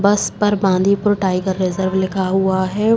बस पर Bandipur tiger reserve लिखा हुआ है।